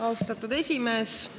Austatud esimees!